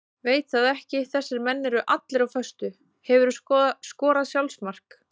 Veit það ekki þessir menn eru allir á föstu Hefurðu skorað sjálfsmark?